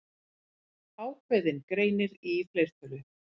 Ákveðinn greinir í fleirtölu.